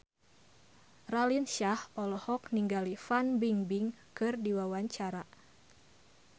Raline Shah olohok ningali Fan Bingbing keur diwawancara